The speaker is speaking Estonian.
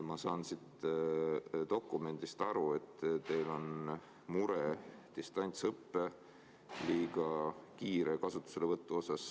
Ma saan siit dokumendist aru, et teil on mure distantsõppe liiga kiire kasutuselevõtu pärast.